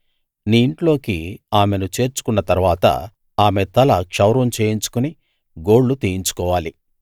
నీ ఇంట్లోకి ఆమెను చేర్చుకున్న తరువాత ఆమె తల క్షౌరం చేయించుకుని గోళ్ళు తీయించుకోవాలి